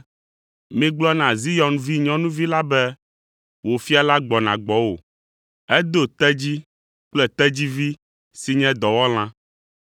“Migblɔ na Zion vinyɔnuvi la be, ‘Wò Fia la gbɔna gbɔwò, edo tedzi kple tedzivi si nye dɔwɔlã!’ ”